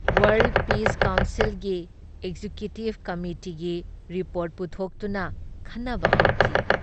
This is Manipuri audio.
ꯋꯥꯔꯜꯗ ꯄꯤꯁ ꯀꯥꯎꯟꯁꯤꯜꯒꯤ ꯑꯦꯛꯖꯦꯀ꯭ꯌꯨꯇꯤꯕ ꯀꯃꯤꯇꯤꯒꯤ ꯔꯤꯄꯣꯔꯠ ꯄꯨꯊꯣꯛꯇꯨꯅ ꯈꯟꯅꯕ ꯍꯧꯈꯤ ꯫